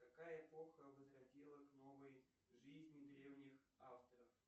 какая эпоха возродила к новой жизни древних авторов